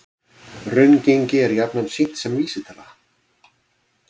Raungengi er jafnan sýnt sem vísitala